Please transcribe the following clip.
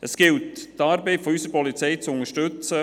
Es gilt, die Arbeit unserer Polizei zu unterstützen.